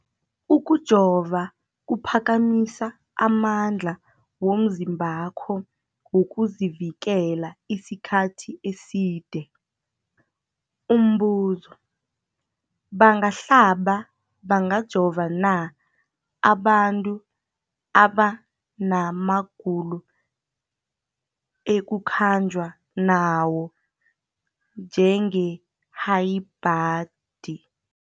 Ukujova kuphakamisa amandla womzimbakho wokuzivikela isikhathi eside. Umbuzo, bangahlaba, bangajova na abantu abana magulo ekukhanjwa nawo, njengehayibhladi?